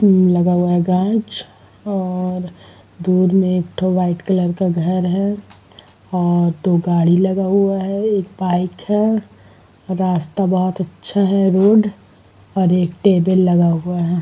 उमम लगा हुआ है गाँछ और दूर में एक ठो व्हाइट कलर का घर है और दो गाड़ी लगा हुआ है एक बाइक है। रास्ता बहोत अच्छा है रोड और एक टेबल लगा हुआ है।